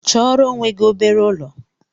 Chọọrọ onwe gị obere ụlọ!